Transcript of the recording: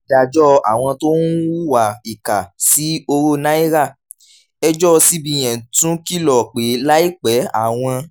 ìdájọ́ àwọn tó ń hùwà ìkà sí owó naira: ẹjọ́ cbn tún kìlọ̀ pé láìpẹ́ àwọn